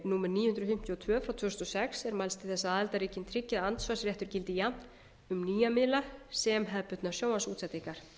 númer níu hundruð fimmtíu og tvö tvö þúsund og sex er mælst til þess að aðildarríkin tryggi að andsvarsréttur gildi jafnt um nýja miðla sem hefðbundnar sjónvarpsútsendingar